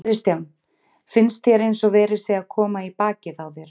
Kristján: Finnst þér eins og verið sé að koma í bakið á þér?